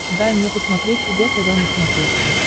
дай мне посмотреть эг тв на смотрешке